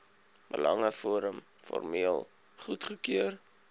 belangeforum formeel goedgekeur